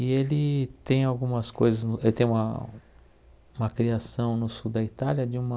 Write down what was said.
E ele tem algumas coisas no... ele tem uma uma criação no sul da Itália de uma...